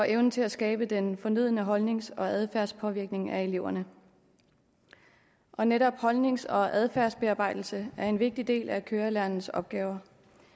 evne til at skabe den fornødne holdnings og adfærdspåvirkning af eleverne og netop holdnings og adfærdsbearbejdelse er en vigtig del af kørelærernes opgaver